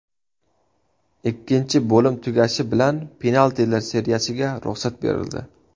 Ikkinchi bo‘lim tugashi bilan penaltilar seriyasiga ruxsat berildi.